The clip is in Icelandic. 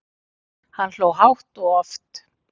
Hann hló hátt og oft.